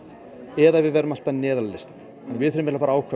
eða við verðum alltaf neðar á listanum við þurfum að ákveða